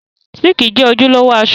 Síìkì jẹ́ ojúlówó aṣọ